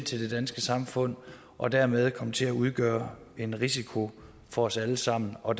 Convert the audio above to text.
til det danske samfund og dermed komme til at udgøre en risiko for os alle sammen og